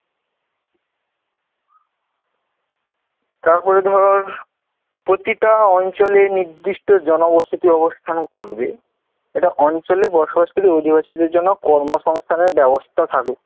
তারপরে ধর প্রতিটা অঞ্চলে নিদৃষ্ট জনবসতি অবস্থান করবে। এটা অঞ্চলে বসবাসকারী অধিবাসীদের জন্য কর্মসংস্থানের ব্যবস্থা থাকুক